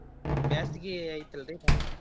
ಬ್ಯಾಸಿಗಿ ಐತಿ ಅಲ್ರೀ ಬಾಳ.